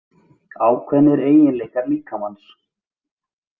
Ákveðnir eiginleikar líkamans.